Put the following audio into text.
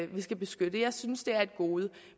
vi skal beskytte jeg synes det er et gode